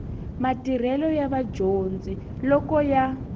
matirhelo ya vadyondzi loko ya